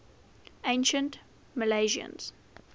ancient milesians